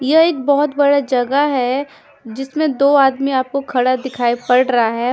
ये एक बहोत बड़ा जगह है जिसमें दो आदमी आपको खड़ा दिखाई पड़ रहा है।